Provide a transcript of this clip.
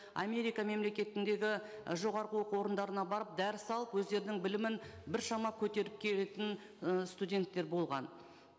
америка мемлекетіндегі і жоғарғы оқу орындарына барып дәріс алып өздерінің білімін біршама көтеріп келетін ы студенттер болған